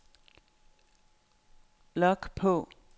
log på